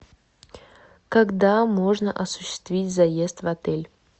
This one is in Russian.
когда можно осуществить заезд в отель